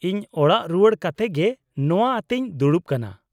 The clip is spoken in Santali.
-ᱤᱧ ᱚᱲᱟᱜ ᱨᱩᱣᱟᱲ ᱠᱟᱛᱮ ᱜᱮ ᱱᱚᱶᱟ ᱟᱛᱮᱧ ᱫᱲᱩᱵ ᱠᱟᱱᱟ ᱾